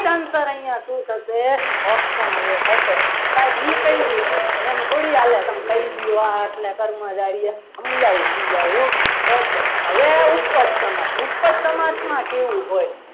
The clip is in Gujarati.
આનો answer અહીંયા શું થશે option એ થશે સાહેબ એ કઈ રીતે એમ થોડી હાલે તમે કહી દો અને કર્મધારય સમજાવું સમજાવું okay હવે આ ઉપર સમાજ ઉપર સમાજમાં કેવું હોય.